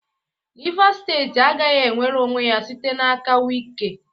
Rivas steeti agaghị enwere onwe ya site n'aka Wike.